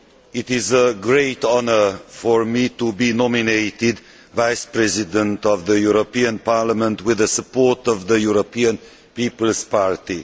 It is a great honour for me to be nominated Vice President of the European Parliament with the support of the European People's Party.